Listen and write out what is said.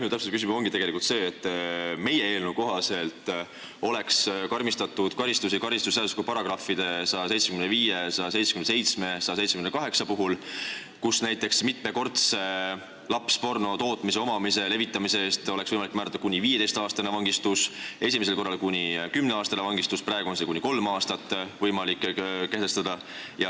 Minu täpsustav küsimus ongi tegelikult see, et meie eelnõu kohaselt oleks karmistatud karistusi karistusseadustiku §-de 175, 177 ja 178 puhul, kus näiteks mitmekordse lapsporno tootmise, omamise, levitamise eest oleks võimalik määrata kuni 15-aastane vangistus, esimesel korral kuni 10-aastane vangistus, praegu on see kuni kolm aastat.